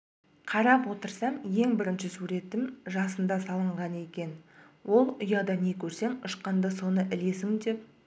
қарап отырсам ең бірінші суретім жасымда салынған екен ол ұяда не көрсең ұшқанда соны ілесің деп